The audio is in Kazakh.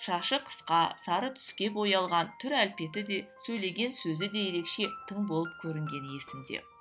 шашы қысқа сары түске боялған түр әлпеті де сөйлеген сөзі де ерекше тың болып көрінгені есімде